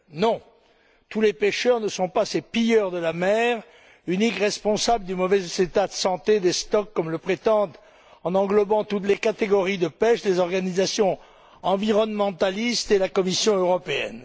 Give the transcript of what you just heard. Non, tous les pêcheurs ne sont pas ces pilleurs de la mer, uniques responsables du mauvais état de santé des stocks, comme le prétendent, en englobant toutes les catégories de pêche, les organisations environnementalistes et la Commission européenne.